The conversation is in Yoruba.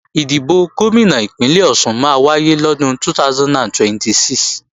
Ìdìbò Gómìnà Ìpínlẹ̀ Ọ̀ṣun máa wáyé lọ́dún 2026